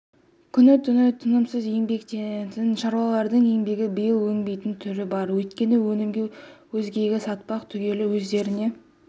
күні-түні тынымсыз еңбектенетін шаруалардың еңбегі биыл өнбейтін түрі бар өйткені өнімді өзгеге сатпақ түгілі өздеріне